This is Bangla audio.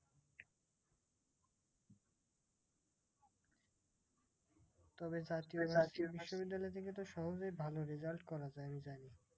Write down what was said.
তবে বিশ্ববিদ্যালয় থেকে তো সহজেই ভালো result করা যায় জানি।